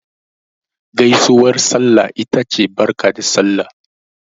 Gaisuwar sallah ita ce Barka da Sallah.